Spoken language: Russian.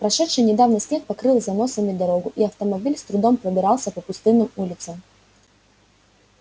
прошедший недавно снег покрыл заносами дорогу и автомобиль с трудом пробирался по пустынным улицам